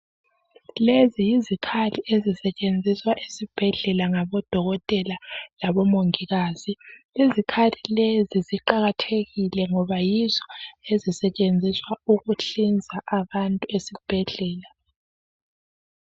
Lezi yizikhali ezisetshenziswa esibhedlela ngodokotela labomongikazi izikhali lezi ziqakathekile ngoba yizo ezisetshenziswa ukuhlinza abantu ezibhedlela